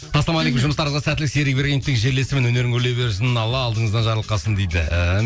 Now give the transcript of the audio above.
ассалаумағалейкум жұмыстарыңызға сәттілік серік ибрагимовтың жерлесімін өнерің өрлей берсін алла алдыңыздан жарылқасын дейді